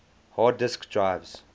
hard disk drives